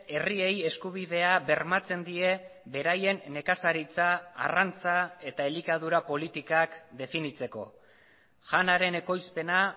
herriei eskubidea bermatzen die beraien nekazaritza arrantza eta elikadura politikak definitzeko janaren ekoizpena